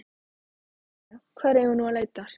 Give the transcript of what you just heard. Jæja, hvar eigum við nú að leita? spurði hann.